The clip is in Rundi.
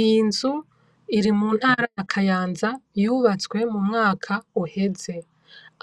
Iyi nzu iri mu ntara ya Kayanza yubatswe mu mwaka uheze,